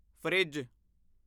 fridge